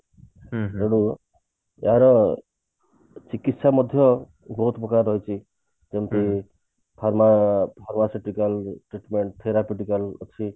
ତେଣୁ ଏହାର ଚିକିତ୍ସା ମଧ୍ୟ ବହୁତ ପ୍ରକାର ରହିଛି ଯେମତି ଅଛି